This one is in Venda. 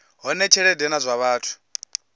hone tshelede na zwa vhathu